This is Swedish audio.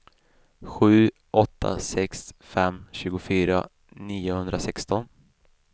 sju åtta sex fem tjugofyra niohundrasexton